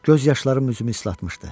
Göz yaşlarım üzümü ıslatmışdı.